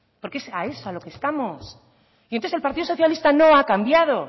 porque es a eso a lo que estamos y entonces el partido socialista nada ha cambiado